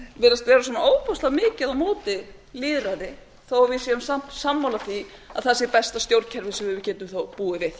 virðast vera svona ofboðslega mikið á móti lýðræði þó að við séum samt sammála því að það sé besta stjórnkerfi sem við getum þó búið við